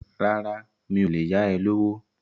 Rárá, mi ò lè yá ẹ lówó.